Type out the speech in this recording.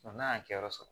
n'a y'a kɛ yɔrɔ sɔrɔ